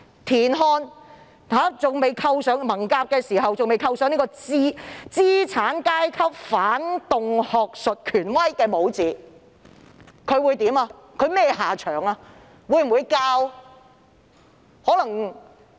如果田漢在文革期間未被扣上"資產階級反動學術權威"的帽子，他會有甚麼下場？